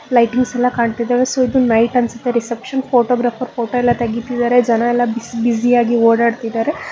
Lightings ಎಲ್ಲಾ ಕಾಣ್ತಿದ್ದಾವೆ ಸ್ವಲ್ಪ ನೈಟ್ ಅನ್ಸತ್ತೆ ರಿಸೆಪ್ಶನ್ ಫೋಟೋಗ್ರಾಫರ್ ಫೋಟೋ ಎಲ್ಲ ತೆಗಿತಿದ್ದಾರೆ ಜನ ಎಲ್ಲ ಬಿಸ್ ಬ್ಯುಸಿ ಯಾಗಿ ಓಡಾಡುತ್ತಿದ್ದಾರೆ.